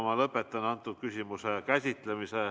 Ma lõpetan selle küsimuse käsitlemise.